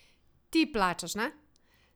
Ti plačaš, ne?